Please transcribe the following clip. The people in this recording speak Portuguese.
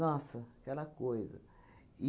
Nossa, aquela coisa!